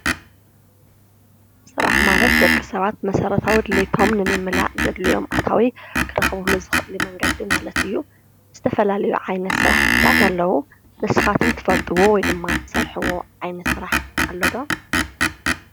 ስራሕ ማለት ደቂ ሰባት መሰራተዊ ድልየቶም ንምምላእ ዘድልዮም ኣታዊ ክረኽብሉ ዝኽእሉ መንገዲ ማለት እዩ፡፡ ዝተፋላለዩ ዓይነት ስራሕቲታት ኣለዉ፡፡ ንስኻትኩም እትፈልጥዎ ወይ ድማ እትሰርሕዎ ዓይነት ስራሕ ኣለዶ?